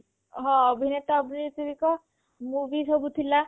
ହଁ ଅଭିନେତା ଅଭିନେତ୍ରୀଙ୍କ movie ସବୁ ଥିଲା